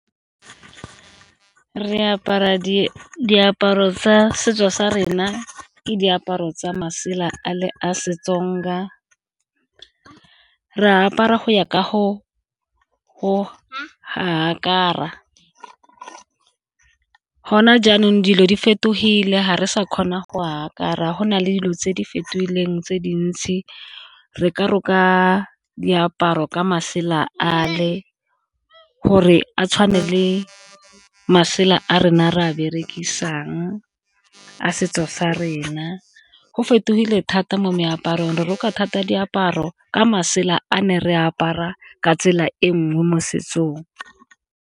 Re apara diaparo tsa setso sa rena ke diaparo tsa masela a le a seTsonga re apara go ya ka , gona jaanong dilo di fetogile ga re sa kgona go a apara, go na le dilo tse di fetogileng tse dintsi re ka roka diaparo ka masela a le gore a tshwane le masela a rena re a berekisang a setso sa rena. Go fetogile thata mo meaparong re roka thata diaparo ka masela a ne re apara ka tsela e nngwe mo setsong.